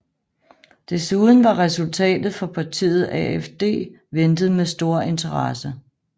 Desuden var resultatet for partiet AfD ventet med stor interesse